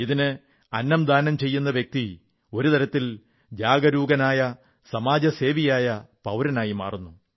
ഇതിന് അന്നം ദാനം ചെയ്യുന്ന വ്യക്തി ഒരു തരത്തിൽ ജാഗരൂകനായ സാമൂഹ്യ സേവകനായ പൌരനായി മാറുന്നു